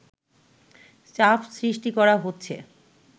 চাপ সৃষ্টি করা হচ্ছে”